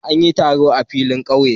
An yi taron a filin kauye.